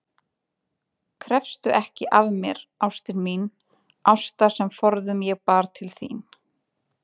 Krefstu ekki af mér, ástin mín, ástar sem forðum ég bar til þín